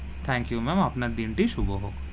Thank you, ma'am আপনার দিন টি শুভ হোক.